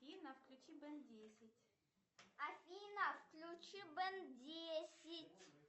афина включи бен десять